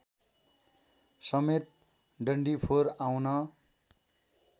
समेत डन्डिफोर आउन